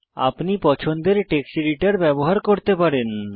আপনি পছন্দের text editor ব্যবহার করতে পারেন